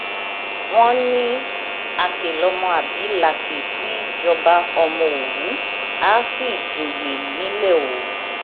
wọn ní àkè lọmọ àbí làkè tí í jọba ọmọ òwú àá sì joyè nílẹ òwú